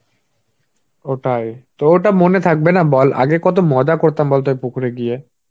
ও তাই. তো ওটা মনে থাকবে না বল. আগে কত মজা করতাম বলতো ওই পুকুরে গিয়ে.